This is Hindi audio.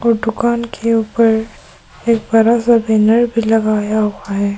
दुकान के ऊपर एक बड़ा सा बैनर भी लगाया हुआ है।